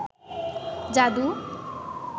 যাদু